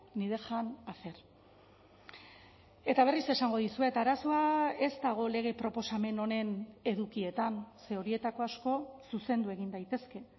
ni dejan hacer eta berriz esango dizuet arazoa ez dago lege proposamen honen edukietan ze horietako asko zuzendu egin daitezke